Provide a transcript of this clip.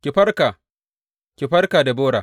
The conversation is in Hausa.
Ki farka, ki farka, Debora!